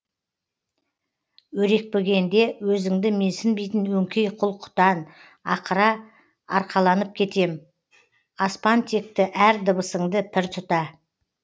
өрекпігенде өзіңді менсінбейтін өңкей құл құтан ақыра арқаланып кетем аспантекті әр дыбысыңды пір тұта